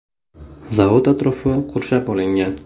Zavod atrofi qurshab olingan.